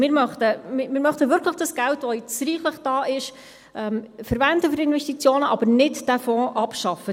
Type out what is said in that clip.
Wir möchten dieses Geld, das jetzt reichlich vorhanden ist, wirklich für Investitionen verwenden, aber diesen Fonds nicht abschaffen.